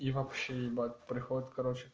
и вообще ебать приходит короче